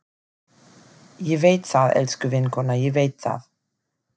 Ég veit það, elsku vinkona, ég veit það.